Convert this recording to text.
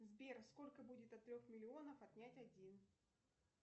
сбер сколько будет от трех миллионов отнять один